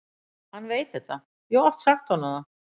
Hann veit þetta, ég hef oft sagt honum það.